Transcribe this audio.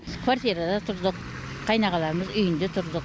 квартирада тұрдық қайнағаларымыз үйінде тұрдық